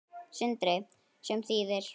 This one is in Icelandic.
Sindri: Sem þýðir?